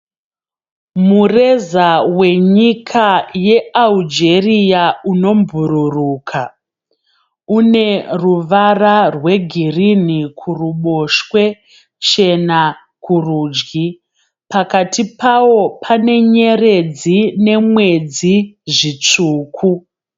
Mureza wenyika yeAlgeria unobhururuka. Une ruvara rwegirinhi kuruboshwe chena kurudyi. Pakati pawo pane nyeredzi nemwedzi zvitsvuku.